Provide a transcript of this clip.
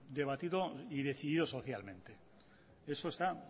debatido y decidido socialmente eso está